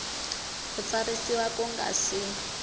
ku tsarisiwa ku nga si